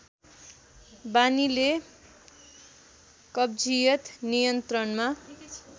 बानीले कब्जियत नियन्त्रणमा